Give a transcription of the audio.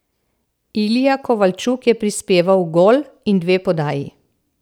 Ilija Kovalčuk je prispeval gol in dve podaji.